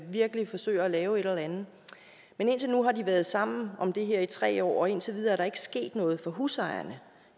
virkelig forsøger at lave et eller andet men indtil nu har de været sammen om det her i tre år og indtil videre er der ikke sket noget for husejerne